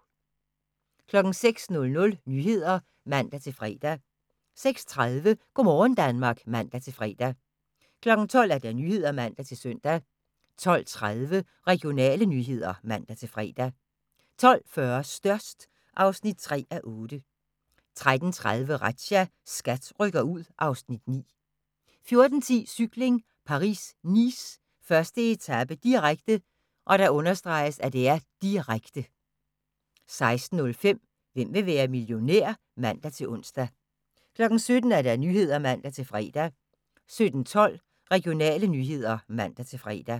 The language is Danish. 06:00: Nyhederne (man-fre) 06:30: Go' morgen Danmark (man-fre) 12:00: Nyhederne (man-søn) 12:30: Regionale nyheder (man-fre) 12:40: Størst (3:8) 13:30: Razzia – SKAT rykker ud (Afs. 9) 14:10: Cykling: Paris-Nice, 1. etape, direkte, direkte 16:05: Hvem vil være millionær? (man-ons) 17:00: Nyhederne (man-fre) 17:12: Regionale nyheder (man-fre)